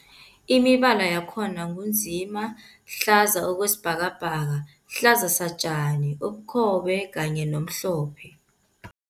Imibala yakhona ngu nzima, hlaza okwesibhakabhaka, hlaza satjani, ubukhobe kanye nomhlophe.